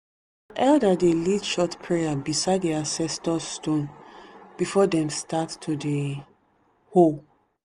elder dey lead short prayer beside the ancestor stone before them start to dey hoe.